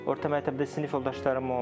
Orta məktəbdə sinif yoldaşlarım olmayıb.